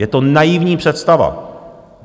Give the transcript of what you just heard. Je to naivní představa.